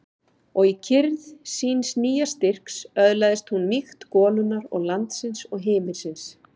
Og í kyrrð síns nýja styrks öðlaðist hún mýkt golunnar og landsins og himinsins.